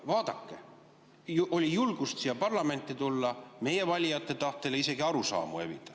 Vaadake, meil oli julgust siia parlamenti tulla meie valijate tahtel ja isegi arusaamu evida.